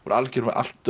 allt öðrum